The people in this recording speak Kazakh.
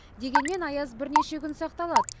дегенмен аяз бірнеше күн сақталады